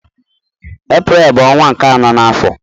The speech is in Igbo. Eprel bu onwa nke ano na afo.